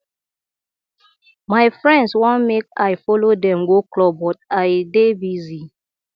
my friends wan make i follow dem go club but i dey busy